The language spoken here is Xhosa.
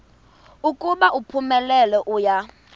ukuba uphumelele uya